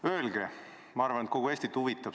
Öelge sellist asja, ma arvan, et kogu Eestit huvitab.